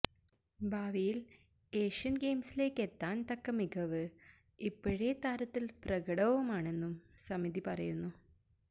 ഭാവിയിൽ ഏഷ്യൻ ഗെയിംസിലേക്കെത്താൻ തക്ക മികവ് ഇപ്പോഴേ താരത്തിൽ പ്രകടവുമാണെന്നും സമിതി പറയുന്നു